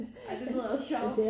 Ej det lyder også sjov